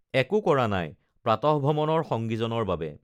একো কৰা নাই প্ৰাতঃভ্ৰমণৰ সংগীজনৰ বাবে